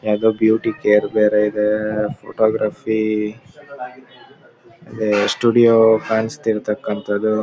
ಯಾವುದೊ beauty care ಬೇರೆ ಇದೆ ಫೋಟೋಗ್ರಫಿ ಈ ಸ್ಟುಡಿಯೋ ಕಾಣಿಸಿರತಕ್ಕಂತದು.